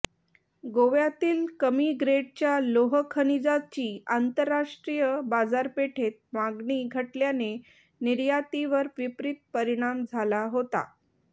गोव्यातील कमी ग्रेडच्या लोह खनिजाची आंतरराष्ट्रीय बाजारपेठेत मागणी घटल्याने निर्यातीवर विपरित परिणाम झाला होता